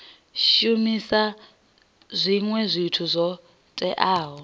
shumisa zwinwe zwithu zwo teaho